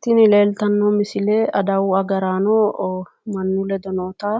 tini leellitanno misile adawu agaraano mannu ledo noota